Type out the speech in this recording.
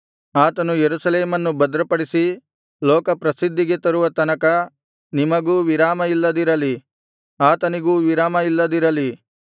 ಆತನು ಯೆರೂಸಲೇಮನ್ನು ಭದ್ರಪಡಿಸಿ ಲೋಕಪ್ರಸಿದ್ಧಿಗೆ ತರುವ ತನಕ ನಿಮಗೂ ವಿರಾಮ ಇಲ್ಲದಿರಲಿ ಅತನಿಗೂ ವಿರಾಮ ಇಲ್ಲದಿರಲಿ